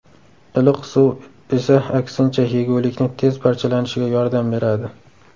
Iliq suv esa aksincha, yegulikni tez parchalanishiga yordam beradi.